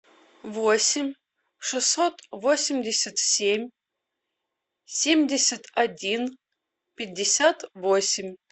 восемь шестьсот восемьдесят семь семьдесят один пятьдесят восемь